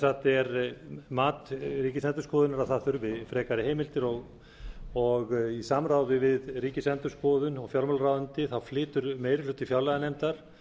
það er sem sagt mat ríkisendurskoðunar að það þurfi frekari heimildir og í samráði við ríkisendurskoðun og fjármálaráðuneytið flytur meiri hluti fjárlaganefndar